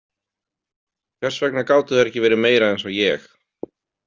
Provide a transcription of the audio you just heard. Hvers vegna gátu þær ekki verið meira eins og ég?